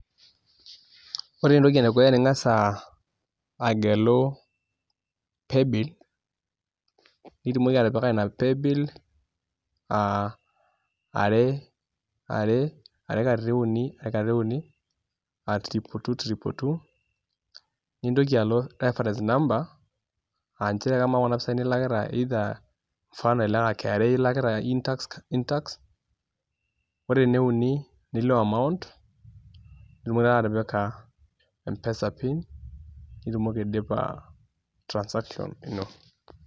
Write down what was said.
Ore entoki edukuya ninkasa agelu playbill mitumoki atipika ina playbill are are katitin uni aa triple two triple two nintoki alo reference number aa njere amaa kuna pisai nilakita mfano kra ilakita In-tax In-tax ore ene uni nilo amount nitumoki atipika mpesa pin nitumoki aidipa transaction ino.